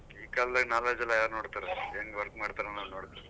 ಈ ಕಾಲದಲ್ಲಿ knowledge ಎಲ್ಲ ಯಾರ್ ನೋಡ್ತಾರೆ ಹೆಂಗ್ work ಮಾಡ್ತಾರೆ ಅನ್ನೋದನ್ನ ನೋಡ್ತಾರೆ.